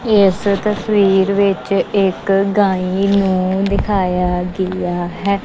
ਇਸ ਤਸਵੀਰ ਵਿੱਚ ਇੱਕ ਗਾਂਯ ਨੂੰ ਦਿਖਾਇਆ ਗਿਆ ਹੈ।